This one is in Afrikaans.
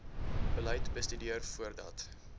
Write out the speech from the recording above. beleid bestudeer voordat